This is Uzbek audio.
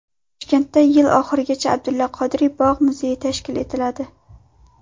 Toshkentda yil oxirigacha Abdulla Qodiriy bog‘-muzeyi tashkil etiladi.